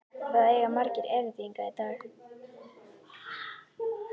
Það eiga margir erindi hingað í dag.